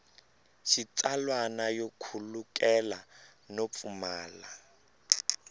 xitsalwana yo khulukelana no pfumala